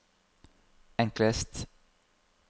enklest